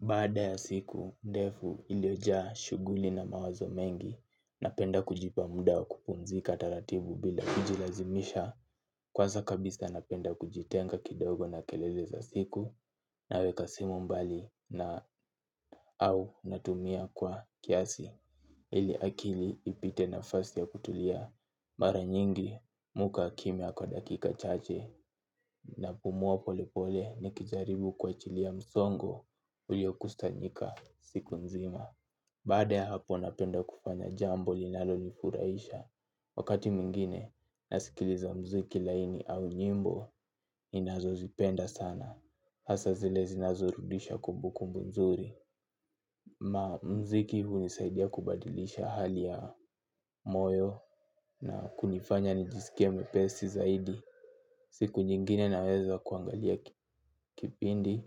Baada ya siku, ndefu iliyojaa shuguli na mawazo mengi na penda kujipa muda wa kupumzi kataratibu bila kujilazimisha. Kwaza kabisa napenda kujitenga kidogo na keleleza siku na weka simu mbali na au natumia kwa kiasi. Ili akili ipite na fasi ya kutulia. Mara nyingi, mihukaa kimia kwa dakika chache. Na pumua pole pole ni kijaribu kua chilia msongo ulio kusanyika siku nzima. Baada ya hapo napenda kufanya jambo linalo nifuraisha. Wakati mwingine, naskiliza mziki laini au nyimbo ninazo zipenda sana. Hasa zile zinazorudisha kumbukumbu nzuri. Ma mziki huu nisaidia kubadilisha hali ya moyo na kunifanya nijiskie mwepesi zaidi siku nyingine naweza kuangalia kipindi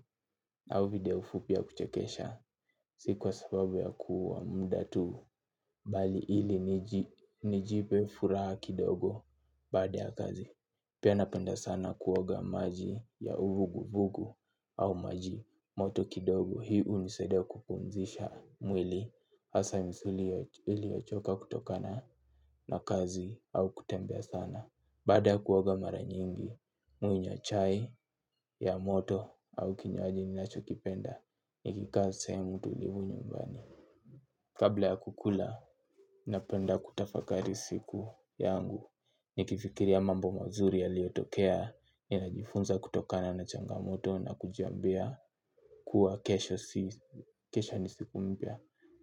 auvideo fupi ya kuchekesha si kwa sababu ya kuua mda tu bali ili nijipe furaha kidogo baada ya kazi pia napenda sana kuoga maji ya uvugu vugu au maji moto kidogo hii unisaidia kupumzisha mwili asa msuli ili ochoka kutokana na kazi. Au kutembea sana. Baada ya kuoga mara nyingi mi hunywa chai, ya moto au kinywaji ni nacho kipenda. Ni kikaa sehemu tu livu nyumbani kabla ya kukula napenda kutafakari siku Yangu. Ni kifikiria mambo mazuri ya liotokea. Ni najifunza kutokana na changamoto na kujiambia kuwa kesho nisiku mpia.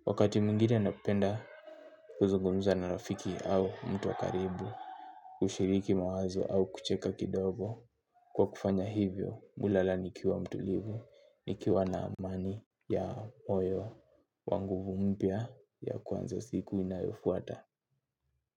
Wakati mwingine napenda kuzungumza na rafiki au mtu wakaribu kushiriki mawazo au kucheka kidogo. Kwa kufanya hivyo, hulala nikiwa mtulivu, nikiwa na amani ya moyo, wanguvu mpya ya kwanzo siku inayofuata.